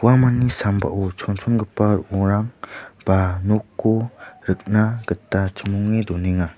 uamangni sambao chonchongipa ro·ongrang ba nokko rikna gita chimonge donenga.